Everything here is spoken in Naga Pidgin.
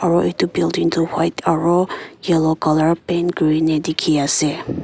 aro edu building toh white aro yellow colour paint kurina dikhiase.